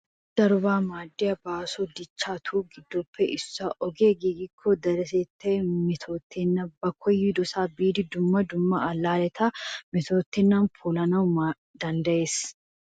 Ogee darobaa maaddiya baaso dichchatu giddoppe issuwaa. Ogee giigikko deretettay metootennan ba koyidosaa biidi dumma dumma allaaleta metootennan polanawu danddayees.